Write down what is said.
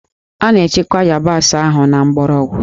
A na-echekwa yabasị ahụ na mgbọrọgwụ